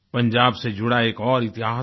पंजाब से जुड़ा एक और इतिहास है